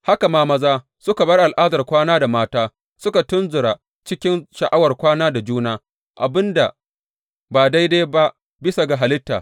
Haka ma maza suka bar al’adar kwana da mata suka tunzura cikin sha’awar kwana da juna, abin da ba daidai ba bisa ga halitta.